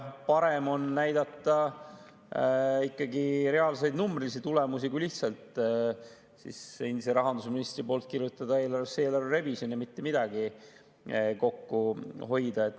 Parem on näidata ikkagi reaalseid numbrilisi tulemusi, kui lihtsalt endise rahandusministri poolt kirjutada eelarvesse "eelarve revisjon" ja mitte midagi kokku hoida.